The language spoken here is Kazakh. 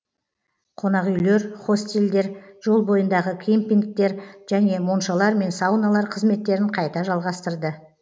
қонақүйлер хостелдер жол бойындағы кемпингтер және моншалар мен сауналар қызметтерін қайта жалғастырды